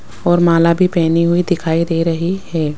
और माला भी पहनी हुई दिखाई दे रही है।